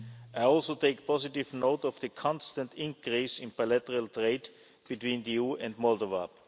citizens. I also take positive note of the constant increase in bilateral trade between the EU and